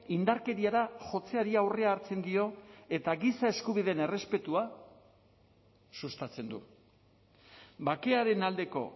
indarkeriara jotzeari aurrea hartzen dio eta giza eskubideen errespetua sustatzen du bakearen aldeko